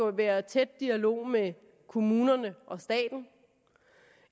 at være i tæt dialog med kommunerne og staten